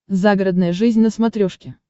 загородная жизнь на смотрешке